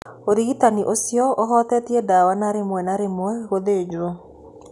Ũrigitani ũcio ũhutĩtie ndawa na rĩmwe na rĩmwe gũthĩnjwo.